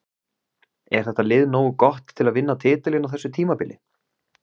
Er þetta lið nógu gott til að vinna titilinn á þessu tímabili?